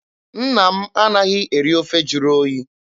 Nna m anaghị eri ofe jụrụ oyi.